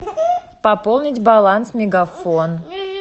пополнить баланс мегафон